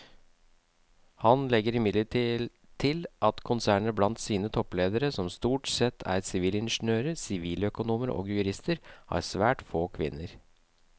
Han legger imidlertid til at konsernet blant sine toppledere som stort sette er sivilingeniører, siviløkonomer og jurister har svært få kvinner.